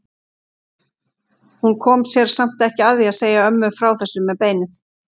Hún kom sér samt ekki að því að segja ömmu frá þessu með beinið.